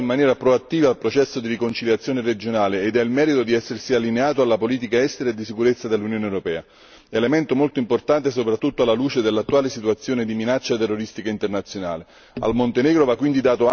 Il governo montenegrino ha partecipato in maniera proattiva al processo di riconciliazione regionale e ha il merito di essersi allineato alla politica estera e di sicurezza dell'Unione europea, elemento molto importante soprattutto alla luce dell'attuale situazione di minacce terroristiche internazionali.